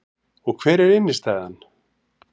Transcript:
Og hver er innstæðan